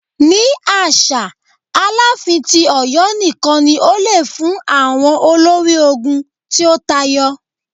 Ni aṣa, Alaafin ti Ọyọ nikan ni o le fun awọn olori ogun ti o tayọ.